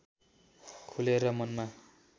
खुलेर मनमा